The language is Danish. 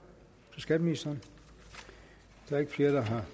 til skatteministeren der er ikke flere der har